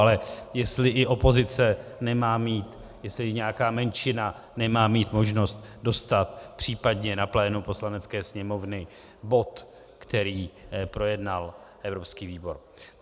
Ale jestli i opozice nemá mít, jestli nějaká menšina nemá mít možnost dostat případně na plénum Poslanecké sněmovny bod, který projednal evropský výbor.